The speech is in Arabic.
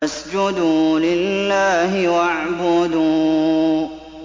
فَاسْجُدُوا لِلَّهِ وَاعْبُدُوا ۩